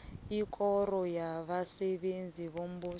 ikoro yabasebenzi bombuso